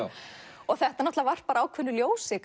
og þetta varpar ákveðnu ljósi